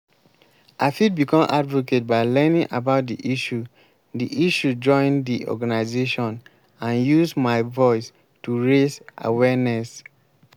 i fit become advocate by learning about di issue di issue join di organization and use my voice to raise awareness.